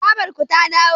babarku ta dawo?